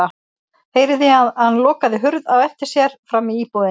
Heyrði að hann lokaði hurð á eftir sér frammi í íbúðinni.